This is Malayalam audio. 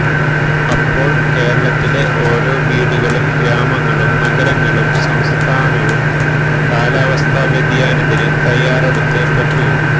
അപ്പോൾ കേരളത്തിലെ ഓരോ വീടുകളും ഗ്രാമങ്ങളും നഗരങ്ങളും സംസ്ഥാനവും കാലാവസ്ഥ വ്യതിയാനത്തിന് തയ്യാറെടുത്തേ പറ്റൂ